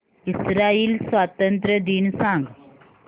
Israel स्वातंत्र्य दिन सांग